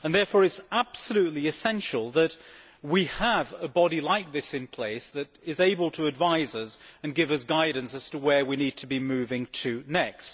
Therefore it is absolutely essential that we have a body like this in place that is able to advise us and give us guidance as to where we need to be moving next.